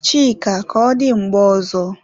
Chika, ka ọ dị mgbe ọzọ